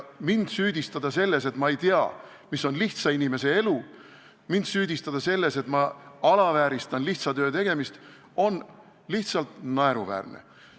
Mind süüdistada selles, et ma ei tea, mis on lihtsa inimese elu, mind süüdistada selles, et ma alavääristan lihtsa töö tegemist, on lihtsalt naeruväärne.